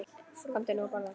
Komdu nú að borða